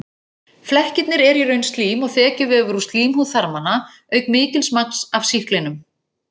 Flekkirnir eru í raun slím og þekjuvefur úr slímhúð þarmanna auk mikils magns af sýklinum.